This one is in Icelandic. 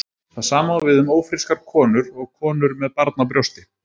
Það sama á við um ófrískar konur og konur með barn á brjósti.